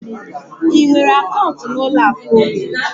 I nwere akaụntụ n'ụlọ akụ ohere?